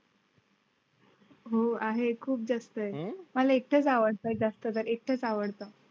हो आहे. खूप जास्त आहे. मला एकटाच आवडता जास्त जर एकटाच आवडतात.